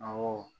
Awɔ